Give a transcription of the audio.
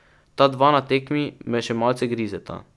Ta dva na tekmi me še malce grizeta.